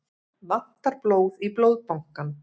Vantar blóð í Blóðbankann